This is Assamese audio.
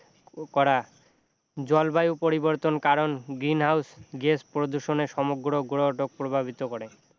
কৰা জলবায়ু পৰিবৰ্তনৰ কাৰণ green house গেছ প্ৰদূষণে সমগ্ৰ গ্ৰহটোক প্ৰভাৱিত কৰে